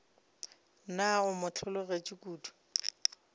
na o mo hlologetše kodu